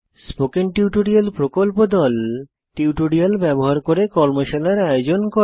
spoken tutorial প্রকল্প দল tutorial ব্যবহার করে কর্মশালার আয়োজন করে